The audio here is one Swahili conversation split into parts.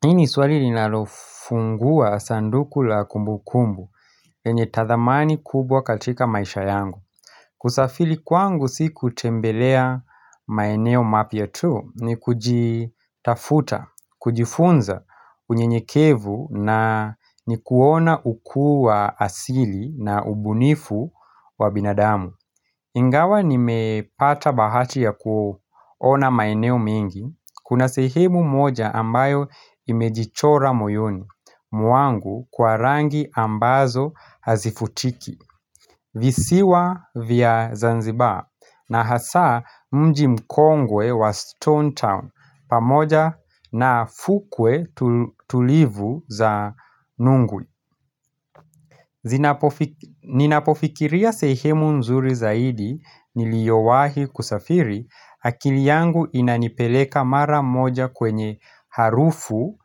Hii ni swali linalofungua sanduku la kumbu kumbu yenye tathamani kubwa katika maisha yangu. Kusafiri kwangu si kutembelea maeneo mapya tu, ni kujitafuta, kujifunza unye nyekevu na ni kuona ukuu wa asili na ubunifu wa binadamu. Ingawa nimepata bahati ya kuona maeneo mengi, kuna sehemu moja ambayo imejichora moyoni, mwangu kwa rangi ambazo hazifutiki, visiwa vya Zanzibar, na hasaa mji mkongwe wa Stonetown, pamoja na fukwe tulivu za nunguli. Ninapofikiria sehemu nzuri zaidi niliowahi kusafiri akili yangu inanipeleka mara moja kwenye harufu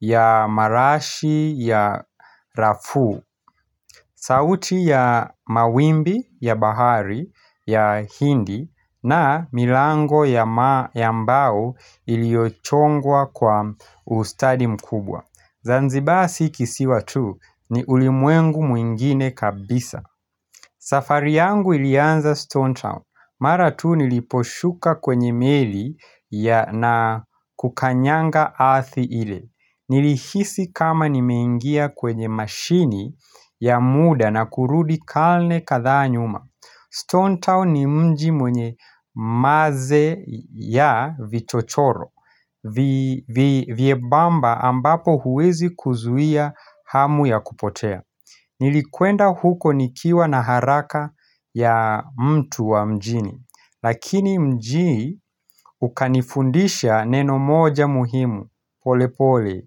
ya marashi ya rafu sauti ya mawimbi ya bahari ya hindi na milango ya ambao iliyochongwa kwa ustadi mkubwa. Zanzibar si kisiwa tu ni ulimwengu mwingine kabisa safari yangu ilianza Stone Town Mara tu niliposhuka kwenye meli ya na kukanyanga ardhi ile Nilihisi kama nimeingia kwenye mashini ya muda na kurudi kalne kadhaa nyuma Stone Town ni mji mwenye maze ya vichochoro Vyebamba ambapo huwezi kuzuia hamu ya kupotea Nilikuenda huko nikiwa na haraka ya mtu wa mjini Lakini mjii ukanifundisha neno moja muhimu polepole,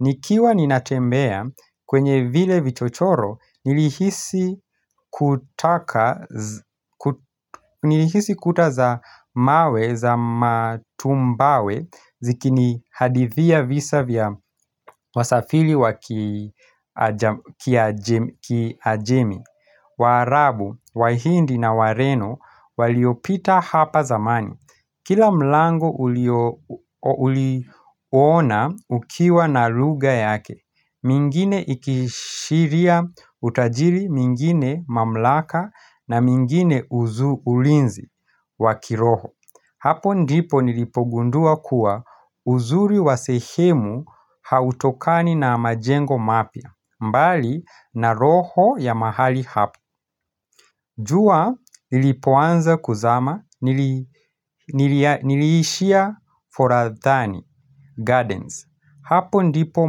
nikiwa ninatembea kwenye vile vichochoro Nilihisi kuta za mawe za matumbawe zikini hadithia visa vya wasafili wa kiajemi Waarabu, wahindi na wareno waliopita hapa zamani Kila mlango uliona ukiwa na lugha yake mingine ikiashiria utajiri, mingine mamlaka na mingine uzu ulinzi wa kiroho Hapo ndipo nilipogundua kuwa uzuri wa sehemu hautokani na majengo mapya mbali na roho ya mahali hapa jua lilipoanza kuzama niliishia foradhani gardens. Hapo ndipo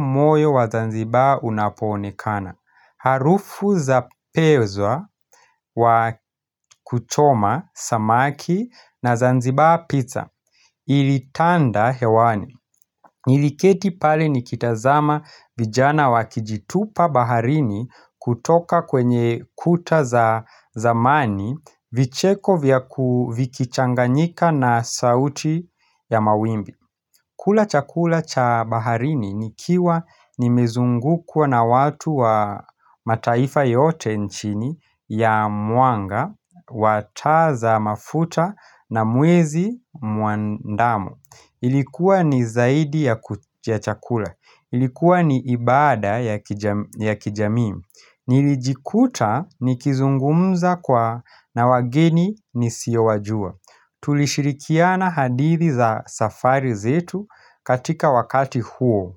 moyo wa zanzibar unapoonekana. Harufu za pezwa wa kuchoma, samaki na zanzibar pizza. Ilitanda hewani. Niliketi pale nikitazama vijana wakijitupa baharini kutoka kwenye kuta za zamani vicheko vya ku vikichanganyika na sauti ya mawimbi. Kula chakula cha baharini nikiwa nimezungukwa na watu wa mataifa yote nchini ya mwanga, wataza mafuta na mwezi mwandamo. Ilikuwa ni zaidi ya chakula. Ilikuwa ni ibada ya kijamii. Nilijikuta nikizungumza kwa na wageni nisiowajua. Tulishirikiana hadithi za safari zetu katika wakati huo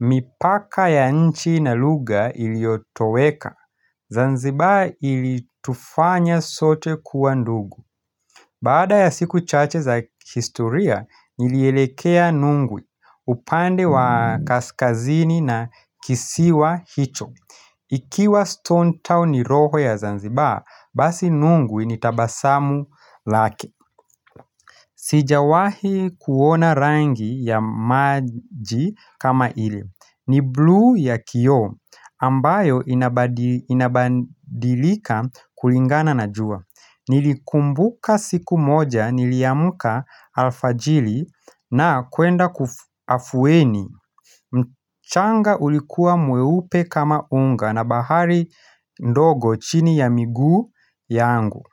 mipaka ya nchi na lugha iliyotoweka Zanzibar ilitufanya sote kuwa ndugu Baada ya siku chache za historia, nilielekea nungwi upande wa kaskazini na kisiwa hicho Ikiwa Stone Town ni roho ya Zanzibaa, basi nungwi ni tabasamu lake Sijawahi kuona rangi ya maji kama ile. Ni blu ya kioo ambayo inabadilika kulingana na jua. Nilikumbuka siku moja, niliamuka alfajiri na kwenda kafuweni. Mchanga ulikua mweupe kama unga na bahari ndogo chini ya miguu yangu.